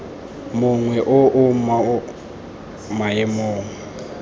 mongwe o o mo maemong